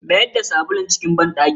Mayar da sabulun cikin banɗaki.